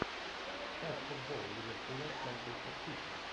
ставь футбол ливерпуля с манчестер сити